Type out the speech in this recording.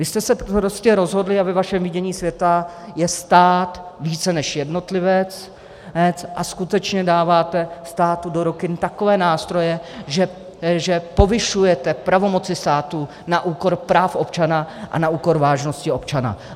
Vy jste se prostě rozhodli a ve vašem vidění světa je stát více než jednotlivec a skutečně dáváte státu do ruky takové nástroje, že povyšujete pravomoci státu na úkor práv občana a na úkor vážnosti občana.